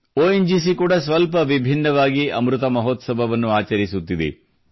ON GC ಕೂಡ ಸ್ವಲ್ಪ ವಿಭಿನ್ನವಾಗಿ ಅಮೃತ ಮಹೋತ್ಸವವನ್ನು ಆಚರಿಸುತ್ತಿದೆ